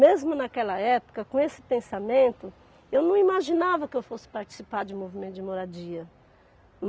Mesmo naquela época, com esse pensamento, eu não imaginava que eu fosse participar de um movimento de moradia.